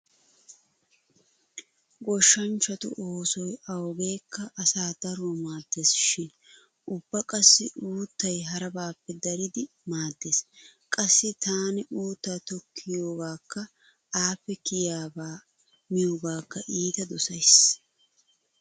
Goshshanchchatu oosoy awugeekka asaa daruwa maaddees shin ubba qassi uuttay harabaappe daridi maaddees. Qassi taani uutta tokkiyogaakka appe kiyabaa miyogaakka iita dosays.